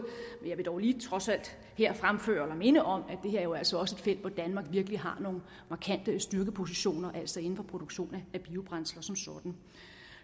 men jeg vil dog lige trods alt her fremføre eller minde om at det her jo altså også felt hvor danmark virkelig har nogle markante styrkepositioner altså inden for produktion af biobrændsler som sådan